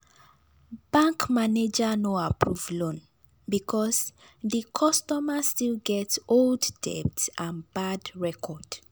bank manager no approve loan because di customer still get old debt and bad record.